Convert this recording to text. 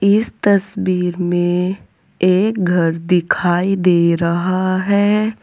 इस तस्वीर में एक घर दिखाई दे रहा है।